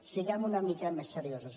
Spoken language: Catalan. siguem una mi·ca més seriosos